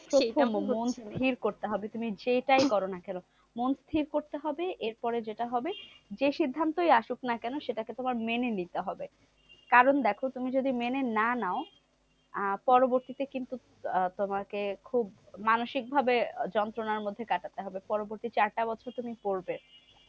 কারণ দেখো তুমি যদি মেনে না নাও? আহ পরবর্তীতে কিন্তু আহ তোমাকে খুব মানসিক ভাবে যন্ত্রণার মধ্যে কাটাতে হবে। পরবর্তীতে চারটা বছর তুমি পড়বে।